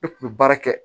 Ne kun bɛ baara kɛ